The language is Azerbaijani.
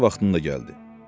Qatar vaxtında gəldi.